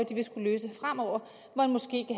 de vil skulle løse fremover hvor en moské